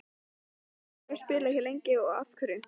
Minn metnaður er að spila hér lengi, af hverju ekki?